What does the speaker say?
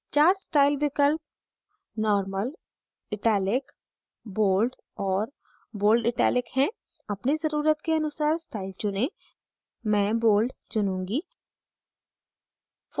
चार style विकल्प normal italic bold और bold italic हैं अपनी ज़रुरत के अनुसार स्टाइल चुनें मैं bold चुनूँगी